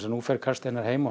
nú fer Karl Steinar heim og